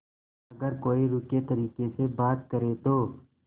अगर कोई रूखे तरीके से बात करे तो